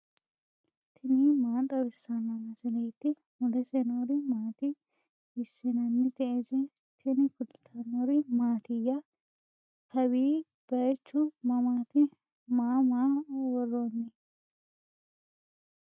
tini maa xawissanno misileeti ? mulese noori maati ? hiissinannite ise ? tini kultannori mattiya? Kawi bayiichchu mamaatti? Maa maa woroonni?